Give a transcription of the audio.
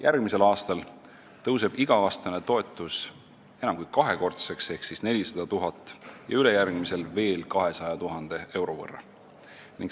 Järgmisel aastal tõuseb iga-aastane toetus enam kui kaks korda ehk 400 000 euro võrra ja ülejärgmisel veel 200 000 euro võrra.